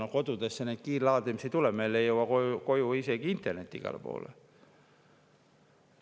Aga kodudesse neid kiirlaadimise ei tule, meil ei jõua isegi internet igale poole koju.